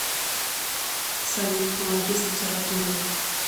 салют помоги с литературой